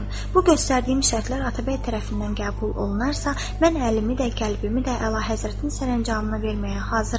Bu göstərdiyim şərtlər Atabəy tərəfindən qəbul olunarsa, mən əlimi də, qəlbimi də əlahəzrətin sərəncamına verməyə hazıram.